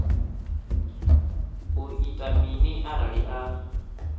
u ita mini arali a